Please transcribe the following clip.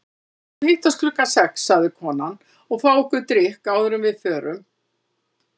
Við skulum hittast klukkan sex, sagði konan, og fá okkur drykk áður en við förum.